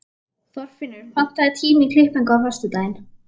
Þorfinnur, pantaðu tíma í klippingu á föstudaginn.